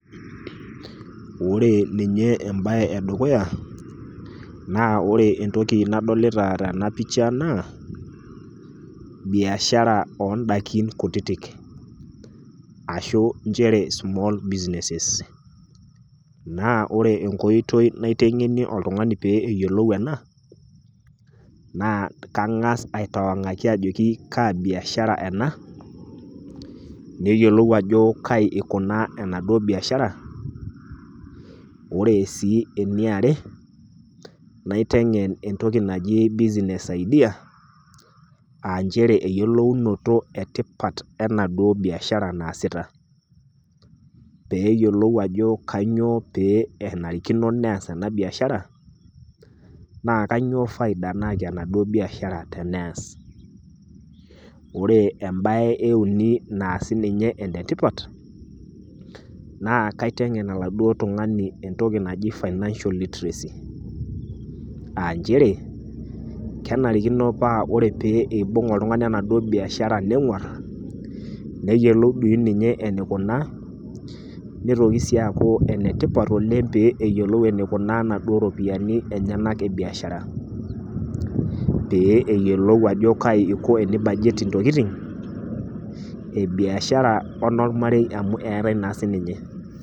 Ore ninye embae e dukuya naa ore entoki nadolita tena pisha naa biashara oo ndaiki kutitik, ashu nchere small business naa ore enkoitoi naiteng'enie oltung'ani pee eyiolou ena, naa kang'ass aitawang'aki ajoki Kaa biashara ena. Neyioulou ajo kai eikunaa ena duo biashara. Ore sii ene are, naiteng'en entoki naji business idea, aa nchere eyolounoto tipat enaduo biashara naasita, pee eyiolou ajo kainyoo pee nenarikino neas ena biashara, naa kainyoo faida nayaki enaduo biashara teneas. Ore embae e uni naa siininye enetipat naa keiteng'en oladuo tung'ani entoki naji financial literacy. Aa nchere kenarikino paa ore pee eibung' oltung'ani enaduo biashara neng'war neyioulou dei ninye eneikunaa, neitoki sii aaku enetipat oleng' pee eyiolou eneikunaa naduo rupiani enyena e biashara. Pee eyiolou aneiko pee eibajet intokitin e biashara o enolmarei amu eatai naa siininye.